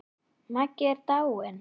Maggi er dáinn!